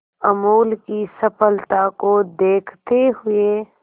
अमूल की सफलता को देखते हुए